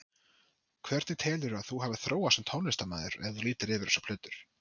Hvernig telurðu að þú hafir þróast sem tónlistarmaður, ef þú lítur yfir þessar plötur?